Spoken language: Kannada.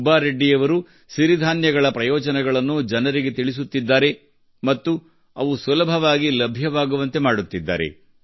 ಸುಬ್ಬಾರೆಡ್ಡಿ ಅವರು ಸಿರಿಧಾನ್ಯಗಳ ಪ್ರಯೋಜನಗಳನ್ನು ಜನರಿಗೆ ತಿಳಿಸುತ್ತಿದ್ದಾರೆ ಮತ್ತು ಅವು ಸುಲಭವಾಗಿ ಲಭ್ಯವಾಗುವಂತೆ ಮಾಡುತ್ತಿದ್ದಾರೆ